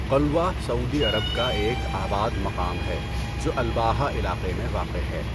قلوہ Saudi Arab کا ایک آباد مقام ہے جو الباحہ علاقہ میں واقع ہے۔